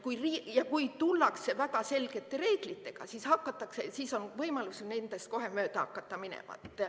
Ja kui tullakse välja selgete reeglitega, siis on võimalus nendest kohe mööda hakata minema.